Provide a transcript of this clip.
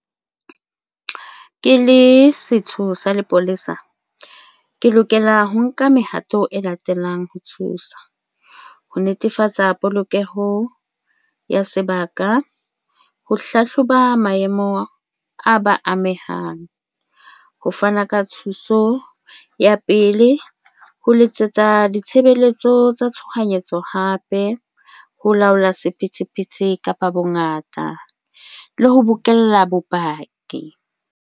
Ke le setho sa lepolesa, ke lokela ho nka mehato e latelang ho thusa ho netefatsa polokeho ya sebaka, ho hlahloba maemo a ba amehang. Ho fana ka thuso ya pele ho letsetsa ditshebeletso tsa tshohanyetso hape, ho laola sephethephethe kapa bongata le ho bokella bopaki.